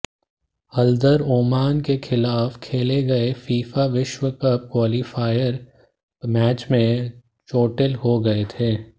Haldar Oman के खिलाफ खेले गए फीफा विश्वकप क्वालीफायर मैच में चोटिल हो गए थे